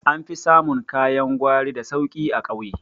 An fi samun kayan gwari da sauki a ƙauye